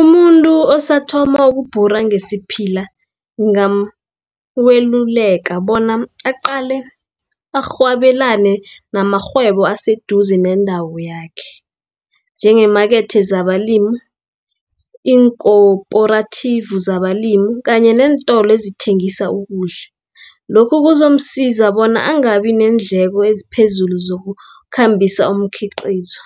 Umuntu osathoma ukubhura ngesiphila, ungameluleka bona aqale arhwabelane namarhwebo aseduze nendawo yakhe, njengeemakethe zabalimu, iinkoporatifu zabalimu, kanye nentolo ezithengisa ukudla. Lokhu kuzomsiza bona angabi, neendleko eziphezulu zokukhambisa umkhiqizo.